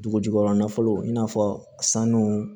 Dugu jukɔrɔ nafolo i n'a fɔ sanu